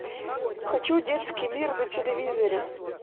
хочу детский мир на телевизоре